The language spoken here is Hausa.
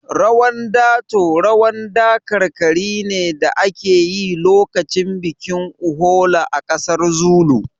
Rawan dato rawan dakarkari ne da ake yi lokacin bikin Uhola a ƙasar Zuru